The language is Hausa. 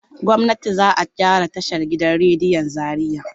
Gwamnati za a gyara tashan gidan rediyon Zariya.